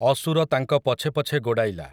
ଅସୁର ତାଙ୍କ ପଛେ ପଛେ ଗୋଡ଼ାଇଲା ।